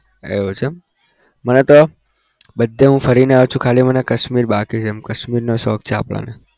એવું છે એમ મે તો બધે હું ફરીને આવ્યો છું ખાલી મને કાશ્મીર બાકી છે કાશ્મીરનો શોખ છે આપણને